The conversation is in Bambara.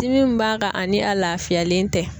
Dimi min b'a kan ani a laafiyalen tɛ.